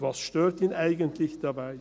Was stört ihn eigentlich daran?